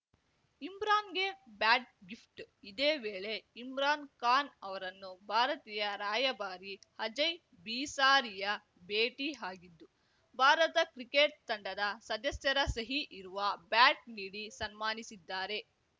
ಇಮ್ರಾನ್‌ಗೆ bat gift ಇದೇ ವೇಳೆ ಇಮ್ರಾನ್‌ ಖಾನ್‌ ಅವರನ್ನು ಭಾರತೀಯ ರಾಯಭಾರಿ ಅಜಯ್‌ ಬಿಸಾರಿಯಾ ಭೇಟಿ ಆಗಿದ್ದು ಭಾರತ ಕ್ರಿಕೆಟ್‌ ತಂಡದ ಸದಸ್ಯರ ಸಹಿ ಇರುವ ಬ್ಯಾಟ್‌ ನೀಡಿ ಸನ್ಮಾನಿಸಿದ್ದಾರೆ